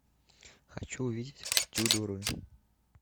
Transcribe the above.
хочу увидеть тюдоры